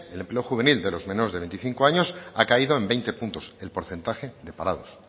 el empleo juvenil de los menores de veinticinco años ha caído en veinte puntos el porcentaje de parados